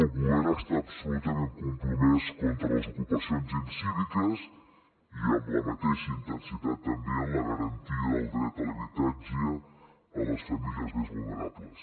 el govern està absolutament compromès contra les ocupacions incíviques i amb la mateixa intensitat també amb la garantia del dret a l’habitatge a les famílies més vulnerables